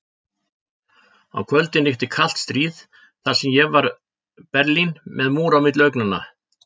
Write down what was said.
Á kvöldin ríkti kalt stríð þar sem ég var Berlín, með múr á milli augnanna.